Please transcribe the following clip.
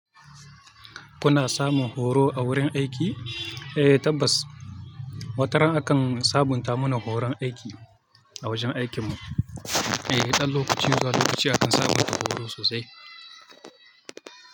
Kuna samun horo a wurin aiki? Eh tabbas, wataran akan sabunta mana horon aiki a wajen aikin mu. Eh, ɗan lokaci zuwa lokaci akan sabunta horo sosai.